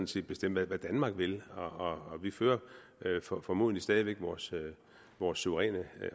skal bestemme hvad danmark vil og vi fører formodentlig stadig væk vores vores suveræne